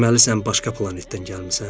Deməli, sən başqa planetdən gəlmisən?